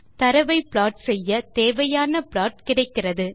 தரவை ப்ளாட் செய்ய தேவையான ப்ளாட் கிடைக்கிறது